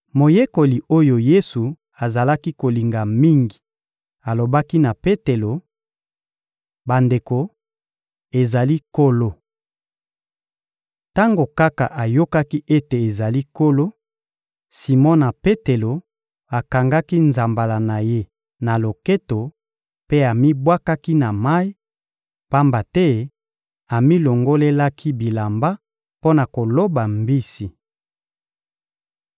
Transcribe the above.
Moyekoli oyo Yesu azalaki kolinga mingi alobaki na Petelo: — Bandeko, ezali Nkolo! Tango kaka ayokaki ete ezali Nkolo, Simona Petelo akangaki nzambala na ye na loketo mpe amibwakaki na mayi, pamba te amilongolelaki bilamba mpo na koloba mbisi.